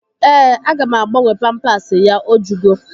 Ee, aga m agabnwe pampasi ya. O jugo